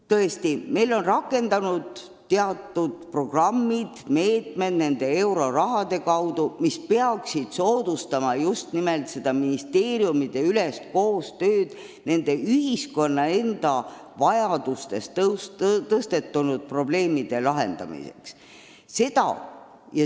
Tõesti, meil on rakendunud euroraha toel teatud programmid ja muud meetmed, mis peaks soodustama ka ministeeriumideülest koostööd ühiskonnas tõusetunud probleemide lahendamiseks.